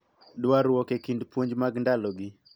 Dwarruok e kind puonj mag ndalogi